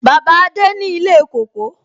Bàbá adé ni ilé kóko.